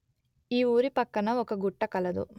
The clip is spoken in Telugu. ఈ ఊరి పక్కన ఒక గుట్ట కలదు